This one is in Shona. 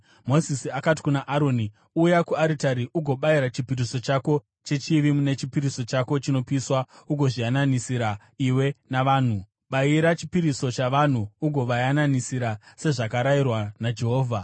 Mozisi akati kuna Aroni, “Uya kuaritari ugobayira chipiriso chako chechivi nechipiriso chako chinopiswa ugozviyananisira iwe navanhu; bayira chipiriso chavanhu ugovayananisira sezvakarayirwa naJehovha.”